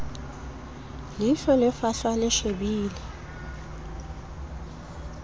leihlo le fahlwa le shebile